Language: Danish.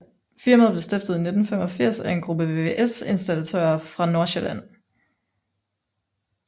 Firmaet blev stiftet i 1985 af en gruppe VVS Installatører fra Nordsjælland